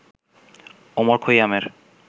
Omar খৈয়ামের